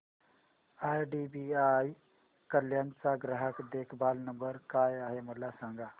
IDBI Kalyan चा ग्राहक देखभाल नंबर काय आहे मला सांगा